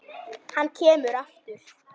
Hann kemur aftur.